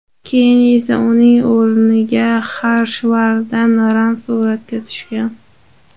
Keyin esa uning o‘rniga Xarshvardan Ran suratga tushgan.